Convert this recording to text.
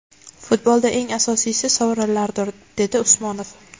Futbolda eng asosiysi – sovrinlardir”, – dedi Usmonov.